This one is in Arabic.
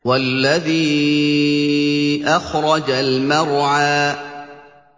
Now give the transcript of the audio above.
وَالَّذِي أَخْرَجَ الْمَرْعَىٰ